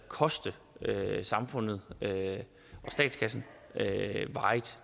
koste samfundet og statskassen